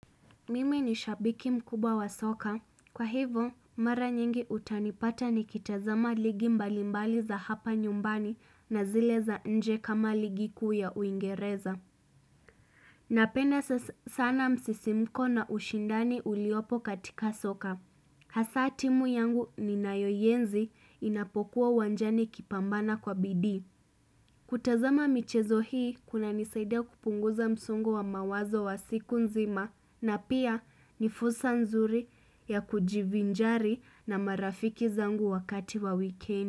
Mimi ni shabiki mkubw wa soka. Kwa hivo, mara nyingi utanipata nikitazama ligi mbalimbali za hapa nyumbani na zile za nje kama ligi kuu ya uingereza. Napenda sana msisimuko na ushindani uliopo katika soka. Hasa timu yangu ninayoienzi inapokuwa uwanjani ikipambana kwa bidii. Kutazama michezo hii kuna nisaida kupunguza msungo wa mawazo wa siku nzima na pia ni fursa nzuri ya kujivinjari na marafiki zangu wakati wa wikendi.